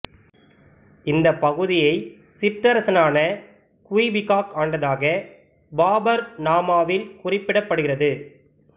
இந்த பகுதியைச் சிற்றரசனான குய்பிகாக் ஆண்டதாக பாபர் நாமாவில் குறிப்பிடப்படுகிறது